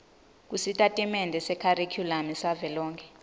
kusitatimende sekharikhulamu savelonkhe